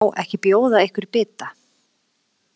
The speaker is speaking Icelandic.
Má ekki bjóða ykkur bita?